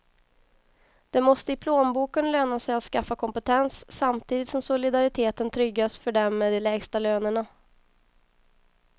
Det måste i plånboken löna sig att skaffa kompetens, samtidigt som solidariteten tryggas för dem med de lägsta lönerna.